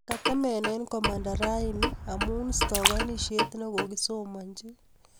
Kotemenee komanda rani amu stakanishet nekogiisomanchi